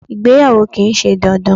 Ìgbéyàwó kìí se dandan